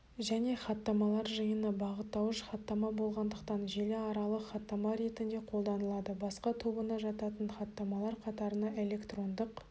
және хаттамалар жиыны бағыттауыш хаттама болғандықтан желіаралық хаттама ретінде қолданылады басқа тобына жататын хаттамалар қатарына электрондық